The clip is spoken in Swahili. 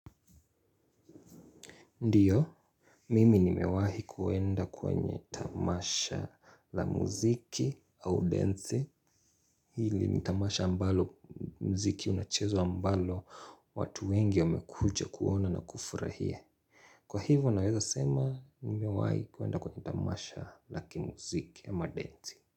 Ndiyo, mimi nimewahi kuenda kwenye tamasha la muziki au densi. Hili ni tamasha ambalo muziki unachezwa ambalo watu wengi wamekuja kuona na kufurahia. Kwa hivyo naweza sema nimewahi kuenda kwenye tamasha la kimuziki ama densi.